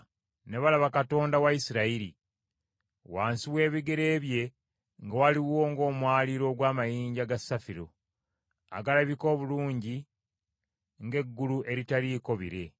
ne balaba Katonda wa Isirayiri. Wansi w’ebigere bye nga waliwo ng’omwaliiro ogw’amayinja ga safiro, agalabika obulungi ng’eggulu eritaliiko bire.